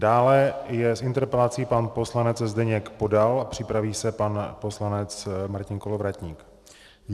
Dále je s interpelací pan poslanec Zdeněk Podal a připraví se pan poslanec Martin Kolovratník.